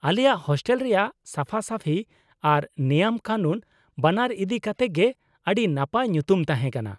ᱟᱞᱮᱭᱟᱜ ᱦᱳᱥᱴᱮᱞ ᱨᱮᱭᱟᱜ ᱥᱟᱯᱷᱟ ᱥᱟᱹᱯᱷᱤ ᱟᱨ ᱱᱮᱭᱟᱢ ᱠᱟᱱᱩᱱ ᱼᱵᱟᱱᱟᱨ ᱤᱫᱤ ᱠᱟᱛᱮ ᱜᱮ ᱟᱹᱰᱤ ᱱᱟᱯᱟᱭ ᱧᱩᱛᱩᱢ ᱛᱟᱦᱮᱸ ᱠᱟᱱᱟ ᱾